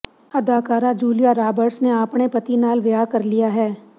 ਅਦਾਕਾਰਾ Julia Roberts ਨੇ ਆਪਣੇ ਪਤੀ ਨਾਲ ਵਿਆਹ ਕਰ ਲਿਆ ਹੈ